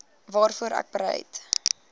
waarvoor ek bereid